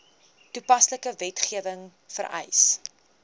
toepaslike wetgewing vereis